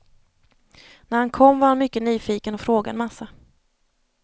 När han kom var han mycket nyfiken och frågade en massa.